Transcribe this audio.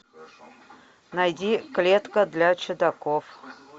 найди клетка для чудаков